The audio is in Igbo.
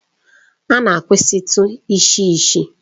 A na-akwụsịtụ isi isi.